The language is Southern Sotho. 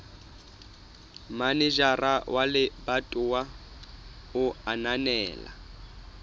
manejara wa lebatowa a ananela